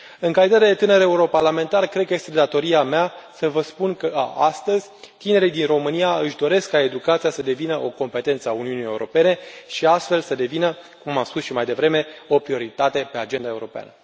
În calitate de tânăr europarlamentar, cred că este datoria mea să vă spun că, astăzi, tinerii din România își doresc ca educația să devină o competență a Uniunii Europene și, astfel, să devină, cum am spus și mai devreme, o prioritate pe agenda europeană.